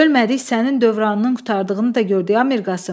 Ölmədik sənin dövranının qurtardığını da gördük ay Mirqasım.